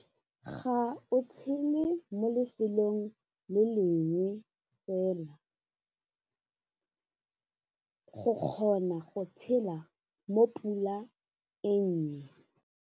Ga o tshele mo lefelong le lengwe fela, go kgona go tshela mo pula e nnye.